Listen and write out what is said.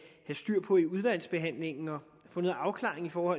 styr på i udvalgsbehandlingen og få noget afklaring på